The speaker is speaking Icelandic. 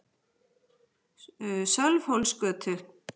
Sölvhólsgötu